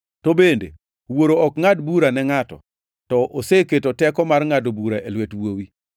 To bende, Wuoro ok ngʼad bura ne ngʼato, to oseketo teko mar ngʼado bura e lwet Wuowi,